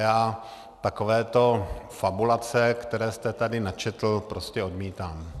Já takovéto fabulace, které jste tady načetl, prostě odmítám.